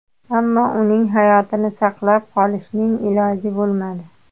Ammo uning hayotini saqlab qolishning iloji bo‘lmadi.